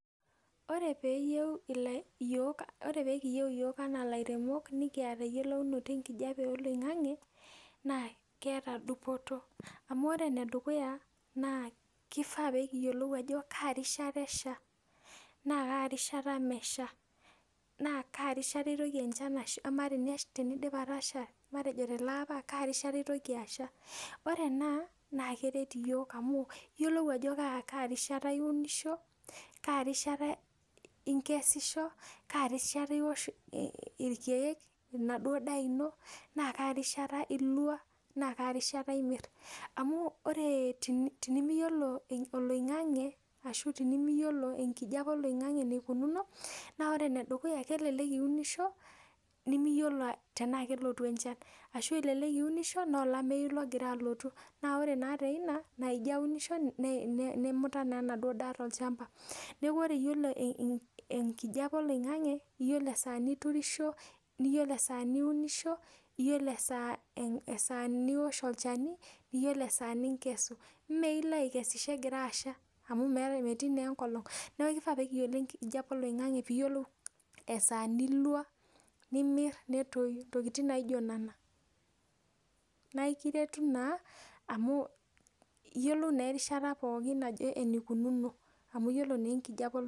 Ore peekiyieu iyiok enaa ilairemok nikiata eyiolounoto enkijape oloing'ang'e naa keeta dupoto amu ore enedukuya naa kifaa piikiyiolou ajo kaa rishata esha naa kaa rishata mesha naa kaa rishata itoki enchan ashukunye Amaa tenidip enchan atasha tele apa kaa rishata itoki aasha Ore ena naa keret iyiok amu iyiolou ajo kaa rishata iunisho kaa risha inkesisho kaa rishata iwosh ilkiek enaduo daa ino naa kaa rishata ilwa naa kaa rishata imir amu ore tenimiyiolo oling'ang'e ashu tenimiyiolo enkijape oloing'ang'e enikunuuno naa ore enedukuya naa kelelek iunisho nimiyiolo tenaa keleotu enchan ashu elelek iunisho noolameyu logira alotu naa ore naa doi ina nemuta naa enaduo daa tolchamba nieku ore iyiolo enkijape oloing'ang'e iyiolo esaa niturisho niyiolou esaa niunisho niyiolou esaa niwosh olchani niyiolou esaa nikesu Mailo aikesisho egira asha amu metii naa enkolong niaku ifaa peekiyiolo enkijape oloing'ang'e pee kiyiolou esaa nilwa nimir nitoy ntokiting naijo nena Naikiretu naa amu iyiolou naa erishata pookin enikunuuno